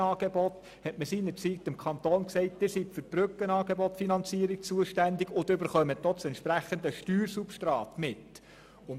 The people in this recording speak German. Man hat seinerzeit dem Kanton gesagt, er sei für die Finanzierung der Brückenangebote zuständig, wofür er auch das entsprechende Steuersubstrat erhalte.